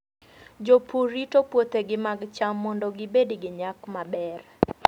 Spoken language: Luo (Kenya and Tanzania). Jopur rito puothegi mag cham mondo gibed gi nyak maber.